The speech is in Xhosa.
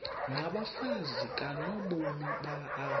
nabafazi kanobomi apha